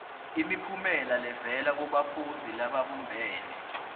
imiphumela levela kubafundzi lababumbene